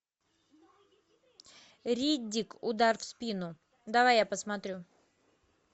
риддик удар в спину давай я посмотрю